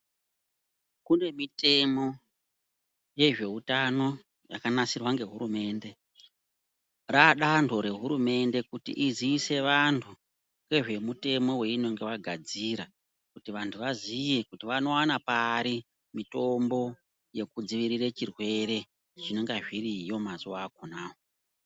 Kune mitemo yezveutano yakanasirwa ngehurumende raandanto rehurumende kuti iziise vanthu ngezvemutemo weinenge yagadzira kuti vanthu vaziye kuti vanowana pari mitombo yekudziirire zvirwere zvinenge zviriyo mazuwa akhonawo.